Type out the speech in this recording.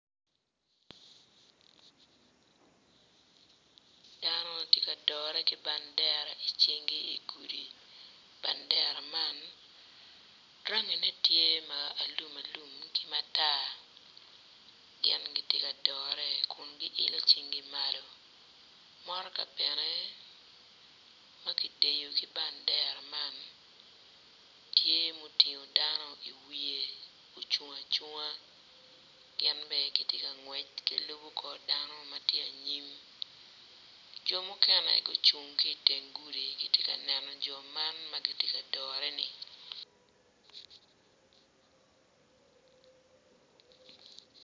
Dano ma gitye ka dore ki bandera i cingi i di gudi bandera man rangine tye ma alumalum ki matar gin gitye ka dore kun giilo cingi malo motoka bene ma kideyo ki bandera man tye mutingo dano i wiye ocung acunga gin bene gitye kangwec kun gilubo kor dano ma tye anyim jo muken gucung ki i teng gudi gitye kaneno jo man ma gitye ka dore-ni.